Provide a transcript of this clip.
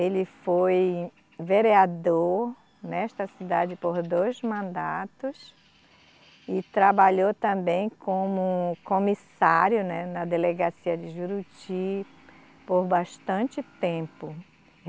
Ele foi vereador nesta cidade por dois mandatos e trabalhou também como comissário, né, na delegacia de Juruti por bastante tempo.